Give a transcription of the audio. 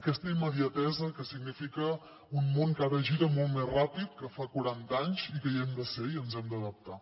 aquesta immediatesa que significa un món que ara gira molt més ràpid que fa quaranta anys i que hi hem de ser i ens hi hem d’adaptar